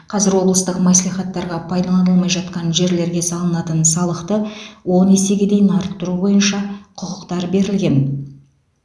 қазір облыстық мәслихаттарға пайдаланылмай жатқан жерлерге салынатын салықты он есеге дейін арттыру бойынша құқықтар берілген